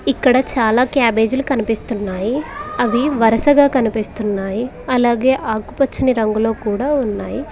ఇక్కడ చాలా క్యాబేజీలు కనిపిస్తున్నాయి అవి వరుసగా కనిపిస్తున్నాయి అలాగే ఆకుపచ్చని రంగులో కూడా ఉన్నాయి.